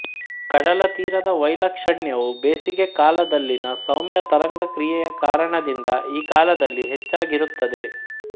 ಕಡಲತೀರದ ವೈಲಕ್ಷಣ್ಯವು ಬೇಸಿಗೆ ಕಾಲದಲ್ಲಿನ ಸೌಮ್ಯ ತರಂಗ ಕ್ರಿಯೆಯ ಕಾರಣದಿಂದ ಈ ಕಾಲದಲ್ಲಿ ಹೆಚ್ಚಾಗಿರುತ್ತದೆ